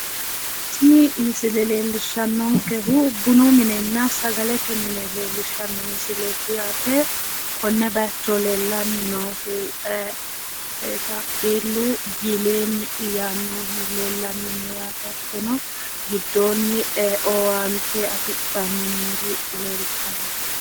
Tini misile leellishshannonkehu bunu minenna sagalete mine leellishshanno misileeti yaate. Konne bayicho leellanni noohu taapeellu pileeni yaannohu leellanni no yaate. Hattono giddoonni owaante afidhanni noori leeltanno.